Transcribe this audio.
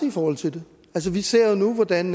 i forhold til det altså vi ser jo nu hvordan